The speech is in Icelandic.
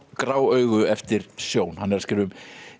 grá augu eftir Sjón hann er að skrifa um